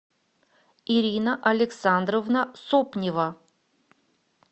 ирина александровна сопнева